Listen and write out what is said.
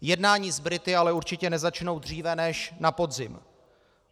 Jednání s Brity ale určitě nezačnou dříve než na podzim.